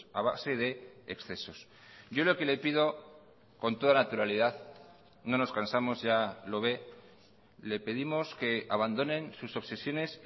a base de excesos yo lo que le pido con toda naturalidad no nos cansamos ya lo ve le pedimos que abandonen sus obsesiones